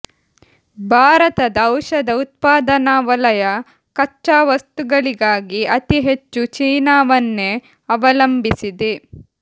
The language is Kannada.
ಭಾರತದ ಔಷಧ ಉತ್ಪಾದನಾ ವಲಯ ಕಚ್ಚಾ ವಸ್ತುಗಳಿಗಾಗಿ ಅತಿ ಹೆಚ್ಚು ಚೀನಾವನ್ನೇ ಅವಲಂಬಿಸಿದೆ